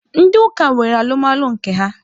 Ndị ụka nwere alụmalụ nke ha